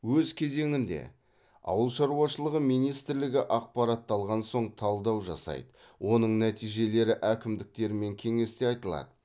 өз кезегінде ауыл шаруашылығы министрлігі ақпаратты алған соң талдау жасайды оның нәтижелері әкімдіктермен кеңесте айтылады